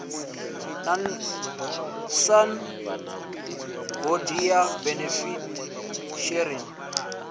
na san hoodia benefit sharing